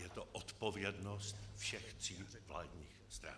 Je to odpovědnost všech tří vládních stran.